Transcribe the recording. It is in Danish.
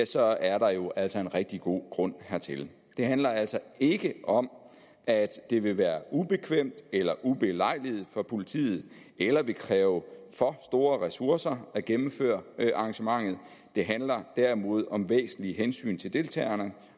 så er der jo altså en rigtig god grund hertil det handler altså ikke om at det vil være ubekvemt eller ubelejligt for politiet eller vil kræve for store ressourcer at gennemføre arrangementet det handler derimod om væsentlige hensyn til deltagerne